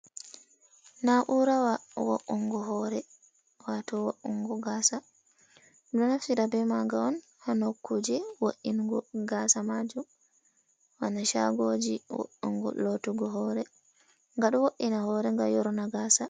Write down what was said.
Naurawa wo’ungo hore wato wa’ungo gasa, ɗo naftira be maga on ha nokkuje wo’’ingo gasa majum, wana chagoji woongo lotugo hore, nga ɗo wo’’ina hore ga yorna gasa.